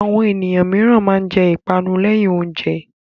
Àwọn ènìyàn mìíràn máa ń jẹ ìpanu lẹ́yìn oúnjẹ.